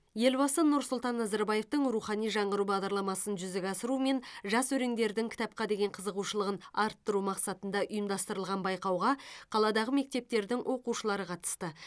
елбасы нұрсұлтан назарбаевтың рухани жаңғыру бағдарламасын жүзеге асыру мен жас өреңдердің кітапқа деген қызығушылығын арттыру мақсатында ұйымдастырылған байқауға қаладағы мектептердің оқушылары қатысты